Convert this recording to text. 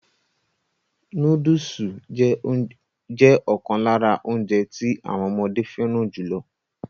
Núdùsù jẹ́ ọ̀kan lára óúnjẹ tí àwọn ọmọdé fẹràn jùlọ.